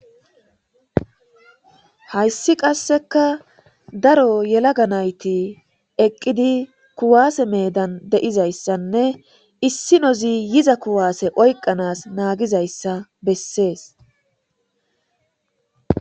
Hayssi qasseka daro yelaga nayti eqqidi kuwaase medan deizayssanne issi nozi yiza kuwaase oyqanas naagizayssa bessees.